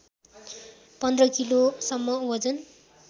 १५ किलोसम्म वजन